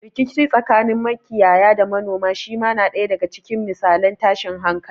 Rikici tsakanin makiyaya da manoma shi ma na ɗaya daga cikin misalan tashin hankali.